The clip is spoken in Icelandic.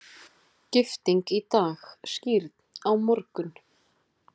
Gifting í dag, skírn á morgun.